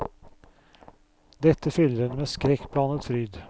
Dette fyller henne med skrekkblandet fryd.